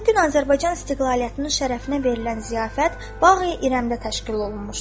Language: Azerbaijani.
Bu gün Azərbaycan istiqlaliyyətinin şərəfinə verilən ziyafət Baği İrəmdə təşkil olunmuşdur.